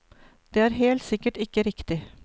Det er helt sikkert ikke riktig.